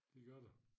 Det gør der